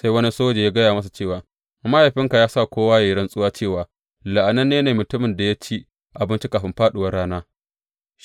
Sai wani soja ya gaya masa cewa, Mahaifinka ya sa kowa ya yi rantsuwa cewa, La’ananne ne mutumin da ya ci abinci kafin fāɗuwar rana!’